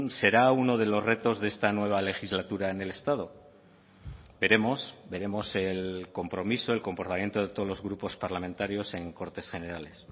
será uno de los retos de esta nueva legislatura en el estado veremos veremos el compromiso el comportamiento de todos los grupos parlamentarios en cortes generales